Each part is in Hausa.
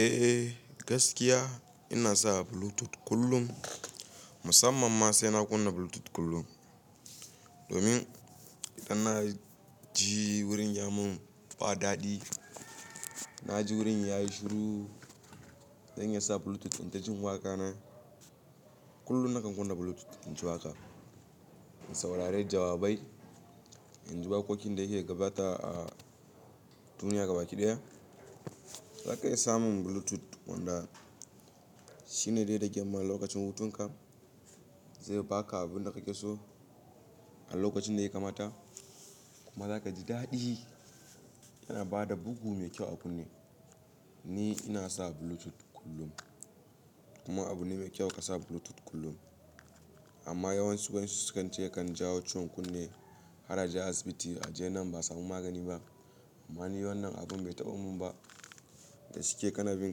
Eh gaskiya ina sa Bluetooth kullum. Musamman ma sai na kunna Bluetooth kullum. Domin idan na je wurin ya mun ba daɗi, na je wurin yayi shiru, zan iya sa Bluetooth in ji waƙa na. Kullum nakan kunna Bluetooth in ji waƙa, in saurari jawabai, in ji waƙoƙin da ke gabata a duniya gaba ɗaya. Za ka iya samun Bluetooth wanda shine dai da gyamma lokacin hutun ka. Zai baka abin da kake so a lokacin da ya kamata. Kuma zaka ji daɗi. Yana bada bugu mai kyau a kunne. Ni ina sa Bluetooth kullum. Kuma abu ne mai kyau ka sa Bluetooth kullum. Amma yawansu wai suke cewa yakan jawo ciwon kunne. Hara aje asibiti a je nan ba a samu magani ba. Amma ni wannan abun bai taɓamun ba. Da shike kanabin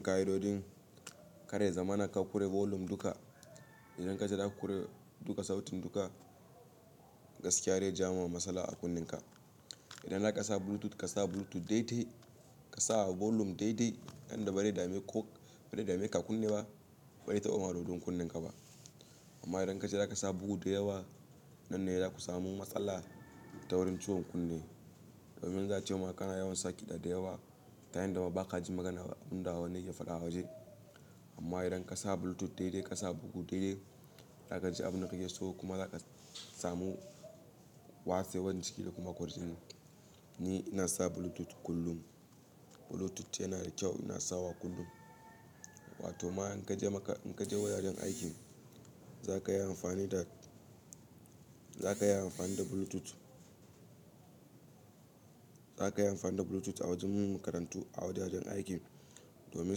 ka idodin ka dai zamanin ka kure volume duka. Idan ka je ka kure duka sautin duka, gaskiya zai jawo masaala a kunnen ka. Idan za ka sa Bluetooth, ka sa Bluetooth daidai. Ka sa volume daidai yanda ba dai dame ko ba dai dame ka kunne ba. Bai taɓa ma dodon kunnen ka ba. Amma idan ka je za ka sa bugu da yawa, nan ne za ku samu matsala ta wurin ciwon kunne. Domin za ace ma kana yawan sakiɗa da yawa. Yayin da ba ka ji maganar abun da wani yake faɗa a waje. Amma idan ka sa Bluetooth daidai, ka sa bugu daidai, za ka ji abin da kake so kuma za ka samu wasewar jiki da kuma kwardin. Ni ina sa Bluetooth kullum. Bluetooth yana da kyau, ina sawa kullum. Wato ma in ka je maka, in ka je wajajen aikin, za ka yi amfani da, za ka yi amfani da Bluetooth. Za ka yi amfani da Bluetooth a wajen makarantu, a wajajen aikin domin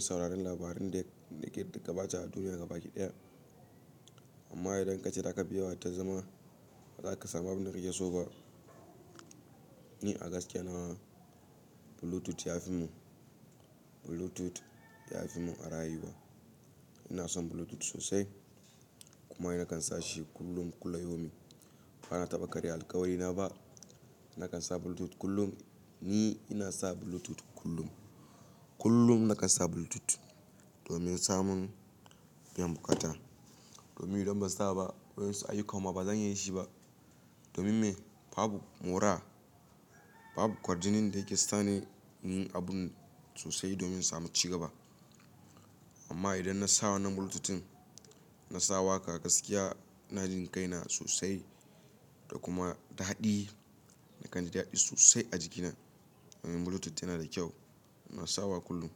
sauraron labaran da, da ke gabata a duniya gaba ɗaya. Amma idan ka je za ka biya ta zama, ba za ka samu abin da kake so ba. Ni a gaskiya na wa Bluetooth ya fi mu, Bluetooth ya fi mu a rayuwa. Ina son Bluetooth sosai. Kuma ni nakan sa shi kullum kula yomi. Ba na taɓa karya alkawari na ba. Nakan sa Bluetooth kullum. Ni ina sa Bluetooth kullum. Kullum nakan sa Bluetooth domin samun biyan buƙaata. Domin idan ban sa ba wayansu aiyukanma ba zan iya yi shi ba. Domin me? Babu mura, babu kwarjinin da yake sa ni yin abun sosai domin samu cigaba. Amma idan na sa wannan Bluetooth na sawa waƙa gaskiya, na ji kaina sosai da kuma da daɗi. Nakan ji daɗi sosai a jikina. Domin Bluetooth yana da kyau. Na sawa kullum.